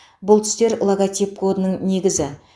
бұл түстер логотип кодының негізі